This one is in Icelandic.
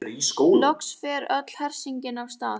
Loks fer öll hersingin af stað.